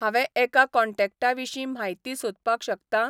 हांवे एका कॉन्टॅक्टाविशीं म्हायती सोदपाक शकतां?